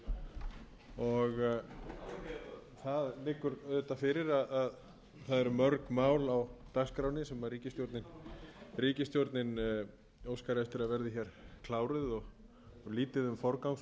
í þessari viku það liggur auðvitað fyrir að það eru mörg mál á dagskránni sem ríkisstjórnin óskar eftir að verði hér kláruð og lítið um